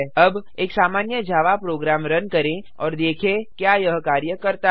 अब एक सामान्य जावा प्रोग्राम रन करें और देखें क्या यह कार्य करता है